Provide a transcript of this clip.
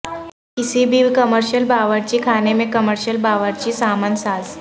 کسی بھی کمرشل باورچی خانے میں کمرشل باورچی سامان ساز